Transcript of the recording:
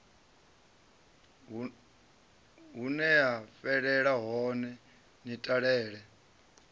huneya fhelela hone ni talele